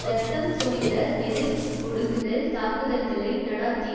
இரத்தம் தோய்ந்த எதிர் ஒடுக்குதல் தாக்குதல்களை நடாத்தியது